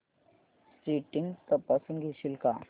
settings तपासून घेशील का